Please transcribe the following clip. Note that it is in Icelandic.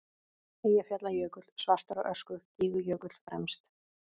Eyjafjallajökull svartur af ösku, Gígjökull fremst.